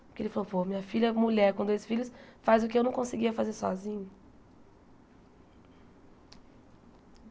Porque ele falou, pô, minha filha, mulher, com dois filhos, faz o que eu não conseguia fazer sozinho.